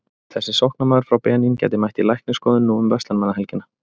Þessi sóknarmaður frá Benín gæti mætt í læknisskoðun nú um verslunarmannahelgina.